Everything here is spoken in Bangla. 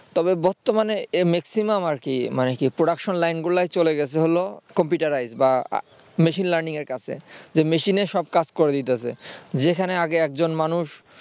তবে বর্তমানে maximum আর কি মানে কি production লাইনগুলোই চলে গেছে হলো computerized বা machine learning এর কাছে তো machine এই সব কাজ করে দিতেছে যেখানে আগে একজন মানুষ